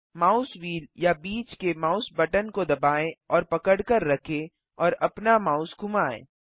mouse wheel या बीच के माउस बटन को दबाएँ और पकड़कर रखें और अपना माउस घुमाएँ